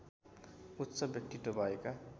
उच्च व्यक्तित्व भएका